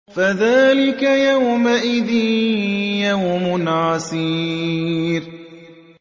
فَذَٰلِكَ يَوْمَئِذٍ يَوْمٌ عَسِيرٌ